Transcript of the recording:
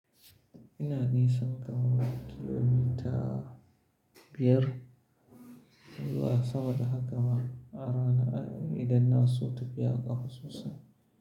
Ina nisan kaman kilimita biyar zuwa sama da haka ma arana idan na so tafiyan kafa sosai.